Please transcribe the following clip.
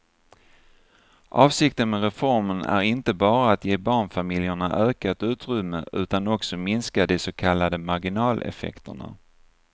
Avsikten med reformen är inte bara att ge barnfamiljerna ökat utrymme utan också minska de så kallade marginaleffekterna.